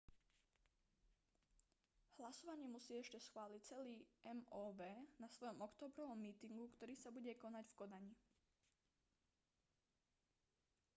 hlasovanie musí ešte schváliť celý mov na svojom októbrovom mítingu ktorý sa bude konať v kodani